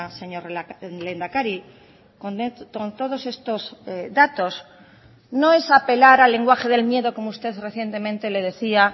señor lehendakari con todos estos datos no es apelar al lenguaje del miedo como usted recientemente le decía